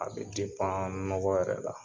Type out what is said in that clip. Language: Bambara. A bɛ nɔgɔ yɛrɛ la